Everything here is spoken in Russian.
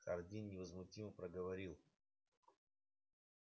хардин невозмутимо проговорил